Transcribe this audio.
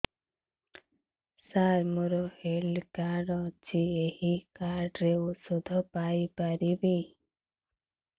ସାର ମୋର health card ଅଛି ଏହି କାର୍ଡ ରେ ଔଷଧ ପାଇପାରିବି